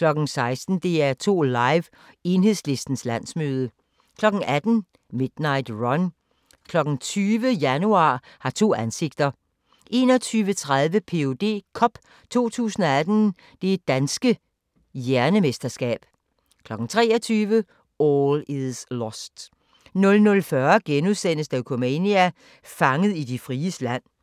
16:00: DR2 Live: Enhedslistens landsmøde 18:00: Midnight Run 20:00: Januar har to ansigter 21:30: Ph.d. Cup 2018 – Det Danske Hjernemesterskab 23:00: All Is Lost 00:40: Dokumania: Fanget i de fries land *